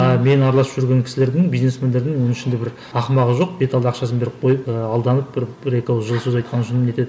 а мен араласып жүрген кісілердің бизнесмендердің оның ішінде бір ақымағы жоқ беталды ақшасын беріп қойып ыыы алданып бір бір екі ауыз жылы сөз айтқаны үшін не етеді